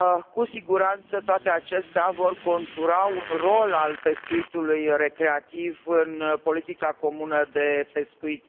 Cu siguranță, toate acestea vor contura un rol al pescuitului recreativ în politica comună de pescuit.